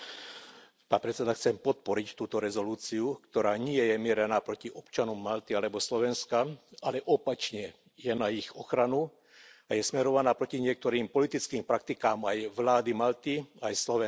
Vážený pán predsedajúci. Chcem podporiť túto rezolúciu, ktorá nie je mierená proti občanom Malty alebo Slovenska, ale opačne, je na ich ochranu a je smerovaná proti niektorým politickým praktikám aj vlády Malty, aj Slovenska.